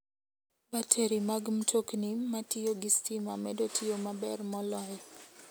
Bateri mag mtokni matiyo gi stima medo tiyo maber moloyo.